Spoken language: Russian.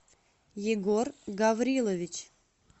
егор гаврилович